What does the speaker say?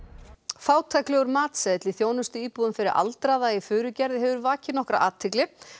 fátæklegur matseðill í þjónustuíbúðum fyrir aldraða í Furugerði hefur vakið nokkra athygli